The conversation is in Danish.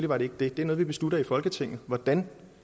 var det ikke det det er noget vi beslutter i folketinget hvordan